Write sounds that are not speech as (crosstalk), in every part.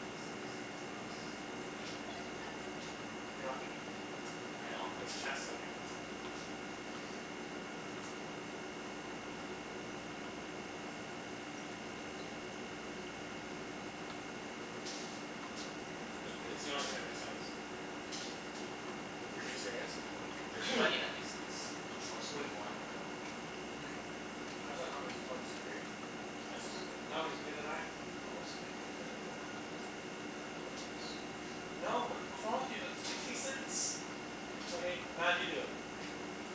Yes, yes, yes boss. (noise) You're not gonna get that spot. I know I- I'm not cuz gonna get it. Chancey's gotta Yeah. get that spot. (laughs) Chancey, can you go? It's it's the only thing that makes sense. Is he being There's Doesn't there's serious? doesn't doesn't make sense. there's (noise) plenty that make sense. I'll explain why in a bit. (noise) How does that not make se- oh, cuz of three? I No it's, still don't get it. no No, you can get it's the nine. No, I'll explain in a bit. Hold on. I like this spot. (noise) No, what what's wrong with you? That's make any sense. Okay. Mat, you do it.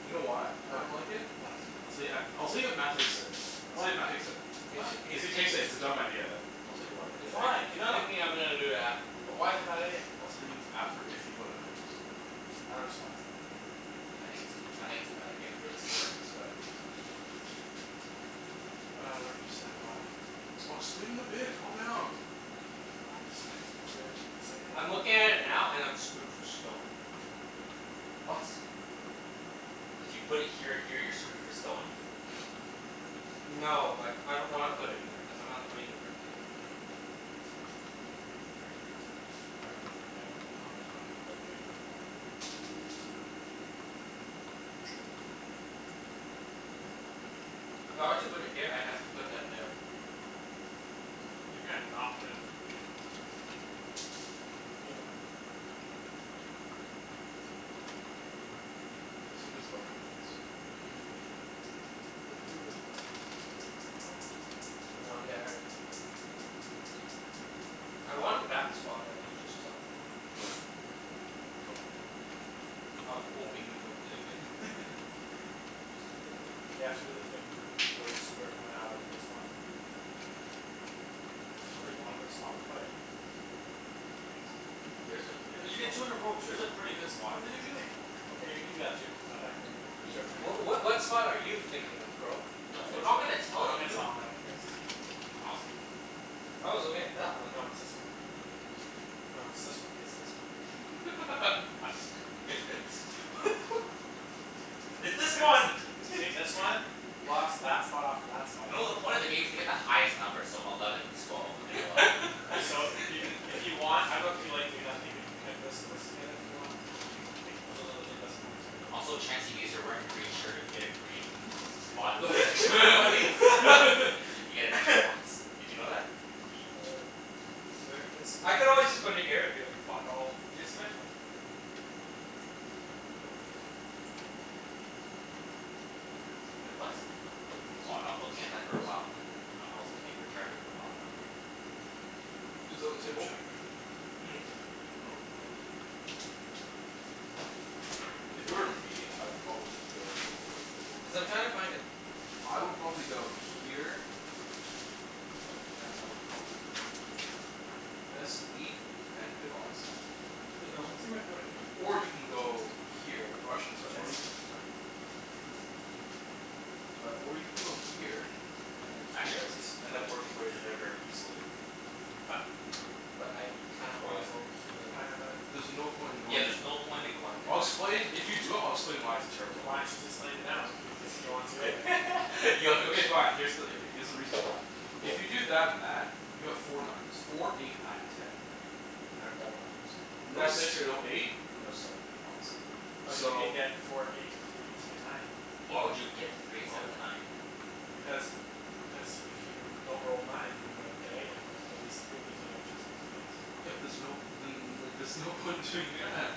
You know why I don't Why? like it? Why? I'll tell you at, I'll tell you if Mat takes it. I'll tell Why? you if Mat takes it. K, so Why? he's If he he takes it, it's a dumb idea. I'll tell you why in he's a bit. thi- Why? he's No, no. thinking I'm gonna do that. But why is it a bad idea? I'll tell you after if he, whether or not he picks it. I don't understand why it's a bad idea. I It's think a it's a, I think it's a bad idea, for this board. (noise) (noise) (noise) It's a bad idea. But I don't understand why. I'll explain in a bit. Calm down. I just, I think it's weird that you say that. I'm looking at it now, and I'm screwed for stone. (noise) What? If you put it here and here you're screwed for stone? (noise) (laughs) No, like, I don't wanna put it here cuz I'm not playing the brick game. But you need brick. Everyone ne- everyone pl- everyone's playing the brick game, what's wrong with you? (noise) If I were to put it here, I'd have to put that there. (noise) You can't not play the brick game. (noise) Can you go? (noise) There's some Yeah. good spots over on this side. Mhm. There's two good spots. (noise) Three. (noise) One there. I wanted that spot that you just took. (noise) (noise) Tough luck, buddy. I was hoping you wouldn't take it. (laughs) Just (noise) You have hopin'. to do the thing where you screw everyone out of a good spot. Yeah. There's There's some only pretty good one good ones. spot to play it. There's There's some some pretty good places. pretty good Cuz you get spots. two, you roll There's a two. pretty good spot in What are you Mat's doing? corner. Okay, you can do that too. That's actually (inaudible) Cuz you Ye- have two more w- of what what spot are you thinking of, bro? I'm No, not we're not gonna gonna tell you I dunno, tell I'm gonna you. tell him. I don't care. It's this one. I was thinking I was looking at that one. No, it's this one. I was thinking this one. No, it's this one. It's this one. I'm just (laughs) (laughs) What me- the (laughs) f- It's this one! See this one? (laughs) Blocks (laughs) that spot off from that spot. You know the point of the game is to get the highest numbers, so eleven twelve and eleven, right? So, you can if you want, I dunno if you like (laughs) doing that thing where you can connect this and this together if you want? You can take cuz those are, those are the best points right now in the Also, game. Chancey, because you're wearing a green shirt, if you get a green (laughs) spot, The you get extra points. f- (laughs) (laughs) You get an extra points. (laughs) Did you know that? Shut up. Where is my I could always just put it here, and be like, "Fuck all." Did you see my phone? Nope. Wait, what? My foot's Oh, gonna I was fall looking at asleep that for a very while. I'm soon. like, that, um I was looking at your charger for a while, then I'm like (noise) Is that it I'm on gonna the go table? check. Hmm. Oh. If it were me, I'd probably go Cuz I'm trying to find a I would probably go here and I would probably go here. Best wheat and good odds on wood. Does no one see my phone anywhere? Or you can go here Or I shouldn't, sorry, or you Chancey? can, sorry? No, I'm sorry. Uh, or you can go here and then I actually There it don't here, see it. is. I and found then it. work your way to there very (noise) easily. I found it. But I kinda Where wanna was it? go It was here. behind that bag. There's no point in Yeah, going there's no there. point in going there, I'll Mat. explain, if you do it I'll explain why it's a terrible idea. Why don't you just explain it now? If you, Cuz if he he wants to go there? wants (laughs) yo Okay fine. Here's the, yeah, okay, here's the reason why. If you do that and that you have four numbers. Four eight nine and ten. Out of all numbers. No That's six, true. no eight? No seven, obviously. But you So can get four eight three ten nine. Why would you get the Why three instead w- of the nine? Because n- cuz if you don't roll nine, you don't get anything, but at least three gives you another chance of getting something else. Yeah but there's no, then there's no point in doing Yeah. that.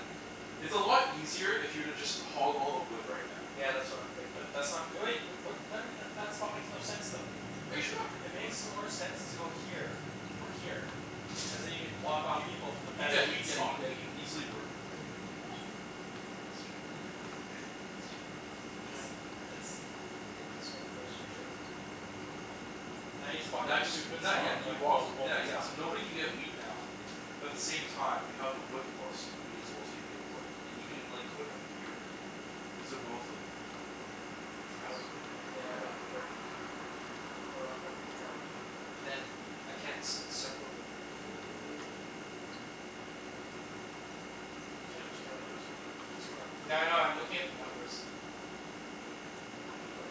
It's a lot easier if you were to just hog all the wood right now. Yeah, that's what I'm thinking. But that's not great. What then m- that that spot makes no sense though. Are you trying to It argue with me makes or more something? sense to go here. Or here. Cuz then you can block off Y- people from the y- yeah best you, wheat spot. yeah you can easily work your way. To a yeah, that's true. (laughs) That's true. It's Yeah. the, it's (noise) Take this one first, for sure. K. Now you just blocked Now that just too good not, yeah spot. (inaudible) and you walk th- yeah yeah, spot. so nobody can get wheat now. But the same time you have the wood port, so you may as well take good wood. And you can like put it like here or here. Cuz they're both like equally I would put it, Yeah, I yeah, for Yeah. the think. brick. Hold on, let me count. But then, I can't c- encircle the What are you talking about? You can, but you can only put two Nothing. two properties here. Yeah, I know. I'm looking at the numbers. Wait, what?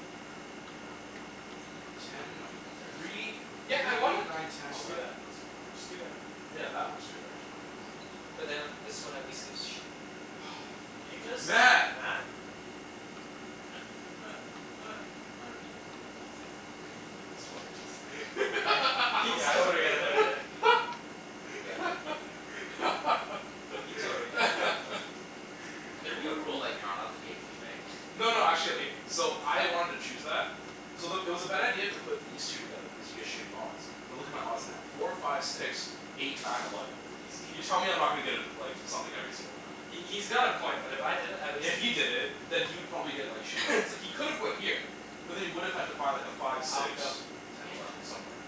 Why don- Ten why don't you consider this one? three Yeah, I three wanna eight nine ten Just do that. eleven. That's not Just do bad. that. Yeah, that works too, actually. Yeah, that's nice. But then this one at least gives sheep. (noise) Can you (noise) just? Mat. Mat! (noise) (noise) Oh thank fuck. He's gonna put it th- he's gonna put it there. Yeah, Are you he's actually totally putting it gonna put it there. there? (laughs) Yeah, he He totally did it. Can there be a rule like, you're not allowed to (laughs) be a douchebag? No no, actually, okay So I wanted to choose that so the, it was a bad idea to put these two together because you get shitty odds. But look at my odds now. Four five six. Eight nine eleven. He's he he You tell me I'm not gonna get a like something every single round. He he's got a point, but if I did it at least If he did it, then he would probably get like shitty odds. (noise) It's like he could have gone here. But then he would have had to find like a five, Alvin, six. go. Ten, Yeah. eleven somewhere.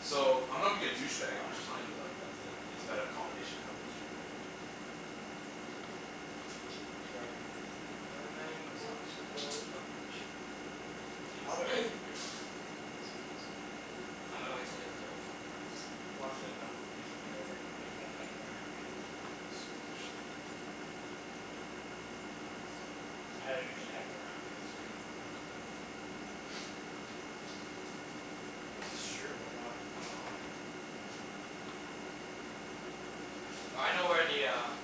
So, I'm not being a douchebag I'm just telling him that that that's like it's a better combination to have those two together. (noise) But you are being a douchebag. I'm That's not a going dou- to build douchebag up move. sh- You can Alvin. put (noise) put your road down. Yeah, sorry, sorry. (noise) I'm gonna wait til they put their roads down before I (noise) decide. He wants to know h- if he's screwing you over or not cuz he wants Yeah. half my happiness. Yeah. (inaudible) (noise) I usually have more happiness if I know I'm screwing someone over. (noise) Well, it's just true. I'm not gonna lie. (noise) I know where the um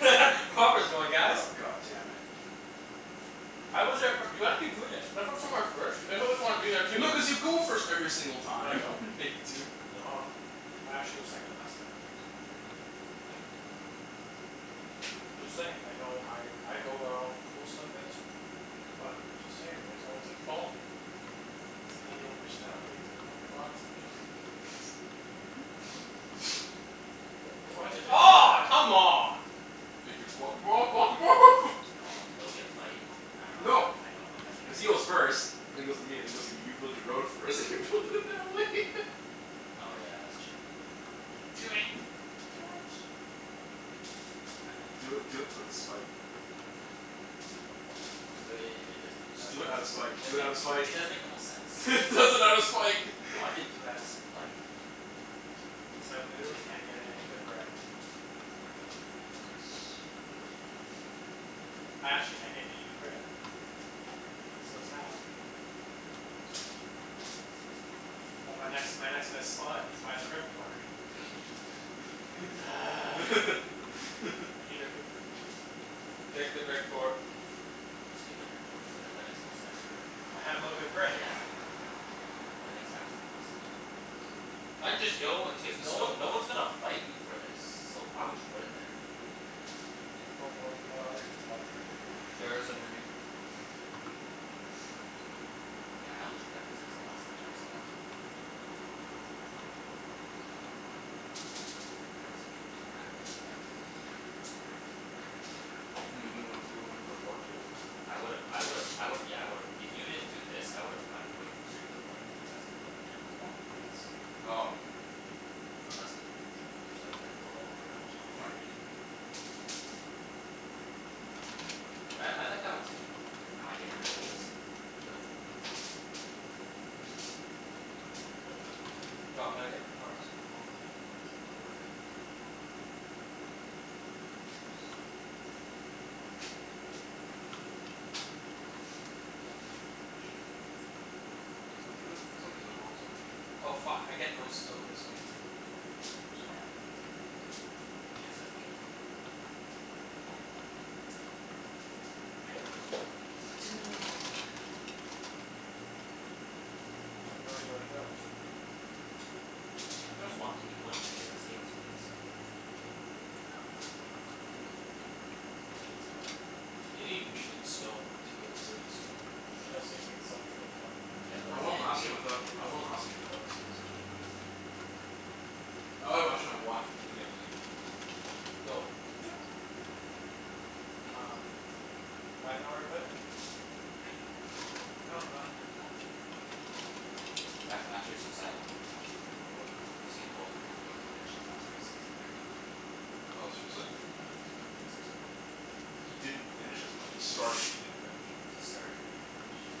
(laughs) Robber's going, guys. Oh, god damn it. I was there fir- (inaudible) When I go somewhere first you always wanna be there too. No, cuz you go first every single No, I time. don't. (laughs) Yeah, you do. Nuh- ah. I actually go second last a lot of times. (noise) (noise) I'm just saying, like I know I I go where all the cool stuff is but I'm just saying, you guys are the ones that follow me. (inaudible) your own personalities your own thoughts and feelings. (noise) (laughs) (laughs) (laughs) Why'd you have to do Aw, that? come on. You can block him off, block him off! No, (laughs) it'll be a fight. I dunno No. if I I dunno if I make Cuz he goes (inaudible) first and then goes to me, and then goes to you build your road first and you build it that way. (laughs) Oh yeah, that's true. Do it. (noise) Do it. (noise) It is kind of a long Do it, do it for game the plan. spite. (noise) But i- i- it and it does make it Just does do make it it out of spite. Do it out of does make spite! it does make the most sense. (laughs) He does it out of spite! No, I (laughs) didn't do it outta spite, man. K, so I literally can't get any good brick. Doo doo doo and wood. I actually can't get any good brick. It's so sad. Six (noise) ten eleven But my next my next (inaudible) best spot is by the brick port. (laughs) (noise) I (laughs) hate (laughs) everything. (noise) Take the brick port. Just take the brick port. But then that makes no sense for I have no good brick. Yeah. That makes absolutely no sense for him. I'd just (inaudible) and take Cuz the no stone one no port. one's gonna fight you for this. So why would you put it there? But Yeah. wh- what other good spots are there? There isn't any. (laughs) (laughs) Yeah, I only took that cuz it was the last good spot. Otherwise, if you didn't do that I would've done that. (noise) (noise) What do you mean you would've went, you would've went for the port too? I would've I would've I would've, yeah, I would've, if you didn't do this, I would've went wait straight for the port and then you guys wouldn't have been able to block me for that. Oh no, yeah. Unless you decided like, build all the way around before I did. But I I like that one too. Cuz now I get wheat. Little bit of wheat. Yeah, that makes sense. (noise) No, I'm gonna get my cards. Okay, go get 'em. (inaudible) What color are you? I always forget. Orange. (inaudible) For th- for some reason I'm always orange now. Oh fuck, I get no stone this game. Who cares? Yeah, I don't get any stone either. But Chancey doesn't get any wheat. And you're closest to the wheat port. (laughs) Mm. I have no idea where to build. Yeah, if there was one thing you wouldn't need in this game, it's wheat. You need a little bit of it. Yeah, you just need a little bit of it. A You n- need wheat and stone to build cities, though. And you That's also need wheat and stone to get a development card. Yeah, but I that's won the end last game without, game. That's I won last end game game. without a single city. I Oh wait, actually I had (noise) one (inaudible) near the end of the game. (noise) Go. Yeah. Um I dunno where to put it. (noise) Anywhere. No, not anywhere. Guys, I'm actually so sad. What? Usain Bolt didn't even finish his last race cuz he cramped up. Oh, seriously? Yeah. So sad. He didn't finish? As in like, he started but he didn't finish? He started. He didn't finish. Damn.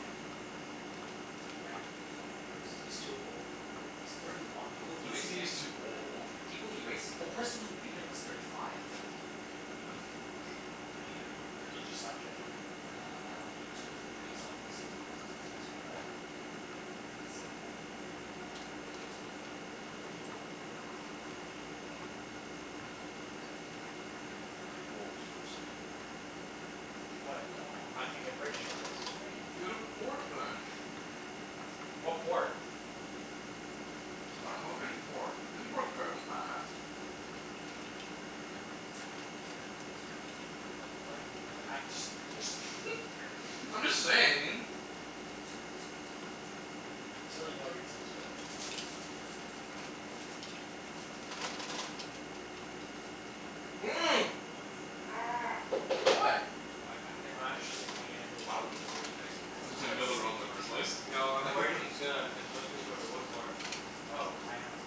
He ran maybe twenty meters. He's too old. He's thirty one. No, People it he doesn't raced mean he's against too old. People he raced, the person who beat him was thirty five. Ouch. He just stopped training? Uh, he took three weeks off this season cuz his like best friend died. That's Mm. sad. And he wasn't really motivated after winning gold in Rio. Woah, seriously? What? I can't get brick Daw anywhere else. Get a port then. (noise) What port? I dunno, any port. Any port's better than that. But like, I d- I just just (noise) (laughs) I'm just saying. T- t- t- t- There's really no reason to get it. (noise) I don't wanna, how am I gonna do this? (noise) What? What? I don't get I'm how they're actually only gonna take Why w- sheep. were you gonna take that spot? Cuz he's gonna build a road in the first place? No, I'm worried (laughs) he's gonna consistently go to wood port. Oh, I am.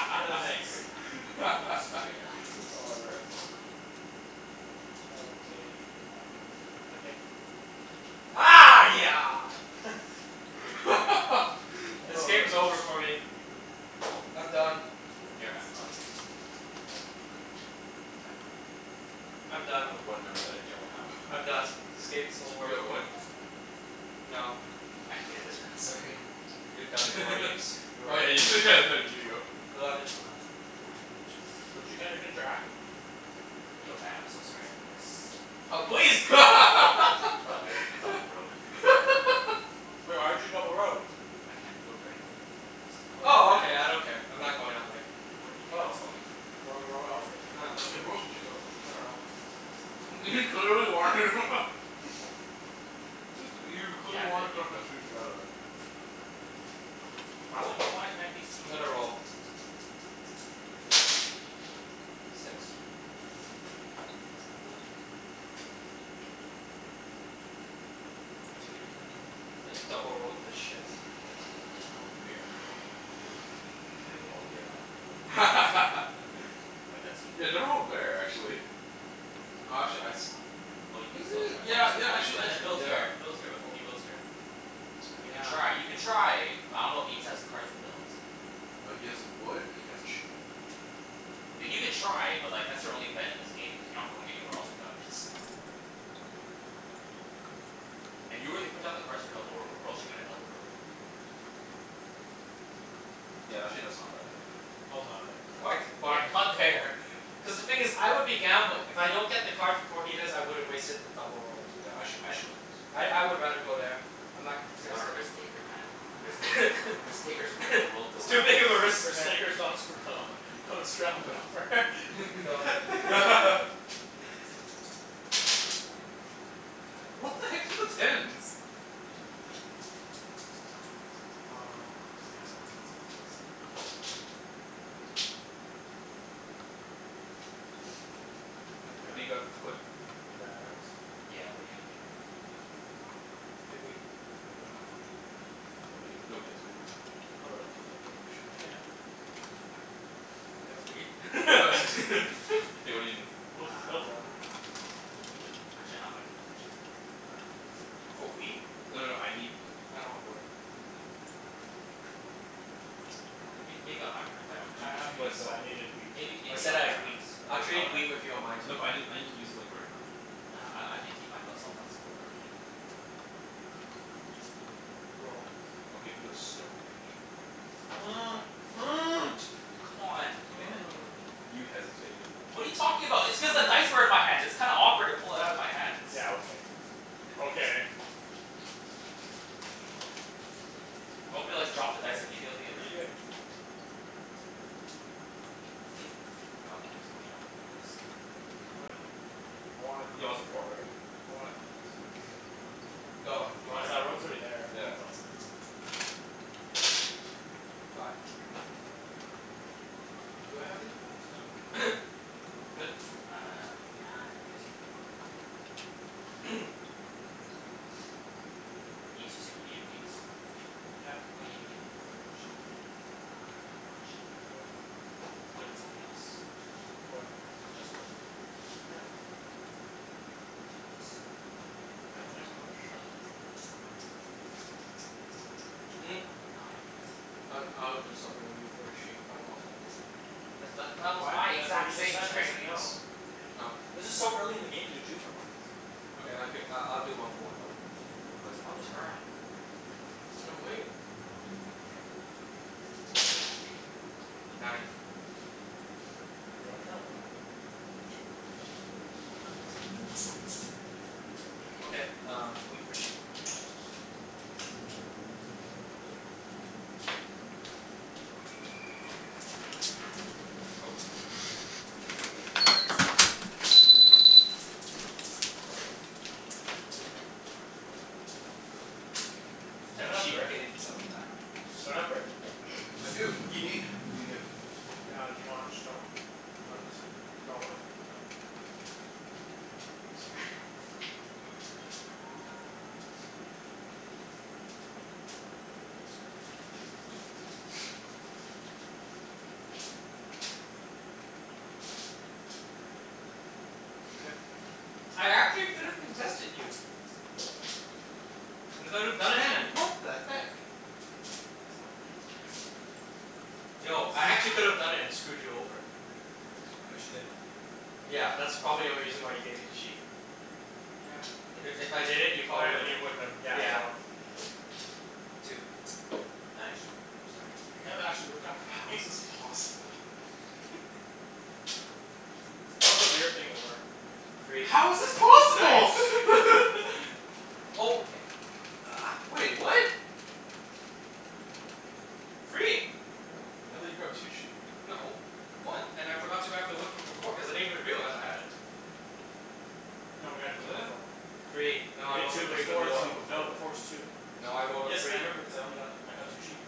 (inaudible) nice. Straight up. Straight up. Oh, wrecked. Four. Oh, did I get anything? No, I didn't. I did. Okay. (noise) (laughs) (laughs) This Oh, game's that's nice. over for me. I'm done. (inaudible) You're g- oh, you already did something? Ten. I'm I got done. the one number that I don't have. I'm done. (laughs) This game's over Anybody have for me. wood? No. I hated this No? round, Sorry. You're done, Okay. poor Ibs. (laughs) You are Oh yeah you (laughs) you did go. Eleven. Eleven. I Hey. get wheat. Gee. But you can't even interact with me. Yo Mat, I'm so sorry for this. Oh please! Double double road. (laughs) Woah, why'd you double road? D- I can't build there anyways. I'm still building these two. Oh, Oh, okay. you I don't (inaudible) care. I'm not going that way. W- w- where do you think I was Oh. going? Why, wh- where else would he Nah, wanna Yeah, nothing. where else would you go? I dunno. (laughs) He clearly wanted him. (laughs) (laughs) Looks like, he Yeah, clearly I'm wanted good. (inaudible) You can go. together. (noise) Why wouldn't you wanna connect these three I'm gonna together? roll. (noise) Go. Six. Whatcha gonna do, Mat? I double road this shit. Double road where? He's gonna try to go all the way around and beat him. One two. (laughs) Wait, that's you. Yeah, double road where, actually? (noise) Oh, actually I s- Oh, you can still Mm, try. Once yeah you yeah, once actually you and then actually build yeah here build here, before he builds here. You can Yeah. try. You can try. But I dunno if Ibs has the cards to build. No, he has a wood and he has a sheep right now. Th- you can (noise) try, but like, that's your only bet in this game cuz you're not going anywhere else without it. (noise) (noise) And you already put down the cards for double road. Where else you gonna double road? Yeah, that's actually not a bad idea too. No no, not there. Why c- (laughs) Yeah, why not there. Cuz the thing is I would be gambling. If I don't get the cards before he does, I would've wasted the double road. Yeah, actually, I actually like this. I I would rather go there. I'm not You're not a contesting. risk taker, man. Risk takers, risk takers make the (noise) world It's go too round. big of a risk, Risk man. takers don't screw (laughs) Go. Go. (inaudible) (laughs) (laughs) (laughs) Ten. What the heck's with the tens? Um, yeah, I'm good. Yes man. Eight. Hey K, I can't anybody got wood? Pretty bad rounds. Yeah, what are you gonna give me? What do you need? You have wheat? I don't have wheat. Nobody h- nobody has wheat. Oh, really? Yeah, nobody should Oh, have wheat. yeah. I have wheat. (laughs) (laughs) (laughs) K, what do you need? Well, What if do he's (inaudible) you need? Uh Actually no, I'm gonna keep it for this round though, thank you. Mat? Do you wanna trade? For wheat? No no Wood. no, I need wood. I don't have wood. Come on, Alvin. Uh, maybe maybe on my round, if I don't end Do I up do have using me it. a wood, but I solid. needed wheat. Maybe I maybe said on I my had wheat. rounds but I'll I trade wanna wheat with you on my turn. No but I n- I need to use it like, right now. Nah, I I need to keep my fel- self flexible, early game. Roll. I'll give you a stone and a sheep. Done. Um two, (noise) come on, he made that deal with (noise) me. You hesitated though. What are you talking about? It's cuz the dice were in (noise) my hand. It's kinda awkward to pull it outta my hands. Yeah, okay. Okay. (noise) Do you want me to like drop the dice immediately What are and you like doing? Mm. I don't think he was going that way anyways. (noise) I'm going that way. I wanted this. You want the port, right? I wanted this (laughs) before. Go. Oh. You Roll. Cuz wanted what before? Yeah. I (inaudible) Fi- Do I have any fives? No. (noise) Good? Uh, no, I'm gonna do something. (noise) (noise) Uh Ibs, you said you needed wheat? Yeah. What are you gonna give me for it? Sheep? Ah, not sheep. Wood? Wood and something else. Wood. Just wood? Yeah. Two woods. Well, I only have one wood. Oh, you only one wood? Mm. Ah, no, I can't. I g- I would do something with you for the sheep, but I want one more. That's th- that was my What? That's what he exact just same said and I said trade. no. No. This is so early in the game to do two for ones. Okay, I'll gi- I'll do one for one though. Well I'll it's my do one for turn. one. And I'm waiting. K, I'm good. Nine. (noise) Do you wanna turn a light on? Yeah, sure. Okay, (noise) um wheat for sheep. Go. (noise) My turn? Mhm. Three. Is that That not a sheep brick? paid itself back. Does anyone have brick? (noise) I do. What do you need? What are you gonna give? Ah, do you want stone? I don't need a stone. Do you want wood? Done. Sorry. (laughs) (noise) (noise) I'm good. (noise) (noise) I actually could have contested you. I could have done it, man. Ten! What the heck? That's how it feels, Chancey. That's Yo, how I it feels. actually (noise) could've done it and screwed you over. Okay. But you didn't. Yeah, Yeah, but that's probably you the didn't. only reason why you gave me the sheep. Yeah. You If good? if I did it, you Oh probably yeah, then wouldn't you wouldn't have, yeah, Yeah. so Two. Nice. I'm sorry. That kind of actually worked out for How me. is this possible? (noise) (noise) That was a weird thing to work. Three. How is this (laughs) possible? Nice. (laughs) What Oh, the heck? okay. Uh. Wait, what? Three. Oh, I thought you grabbed two sheep? No. One. And I forgot to grab the wood from before cuz I didn't even realize I had it. No, we had a two to four. (noise) Free. You No, I had rolled a two three before (inaudible) before. two though. before No, before's that. two. No, I rolled a Yes, I three. remember cuz I only got, I got two sheep.